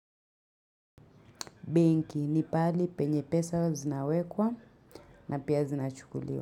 Benki ni pahali penye pesa huwa zinawekwa na pia zinachukuliwa.